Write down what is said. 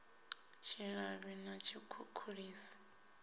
tshilavhi na tshikhukhulisi na tshithihi